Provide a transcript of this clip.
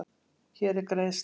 Hér er greiðslan.